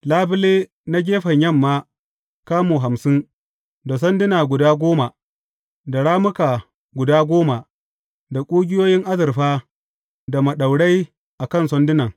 Labule na gefen yamma kamu hamsin, da sanduna guda goma, da rammuka guda goma, da ƙugiyoyin azurfa da maɗaurai a kan sandunan.